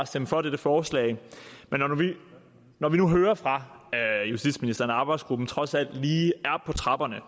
stemme for dette forslag men når vi nu hører fra justitsministeren at arbejdsgruppen trods alt lige er på trapperne